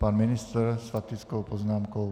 Pan ministr s faktickou poznámkou.